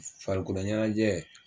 Farikolo ɲɛnajɛ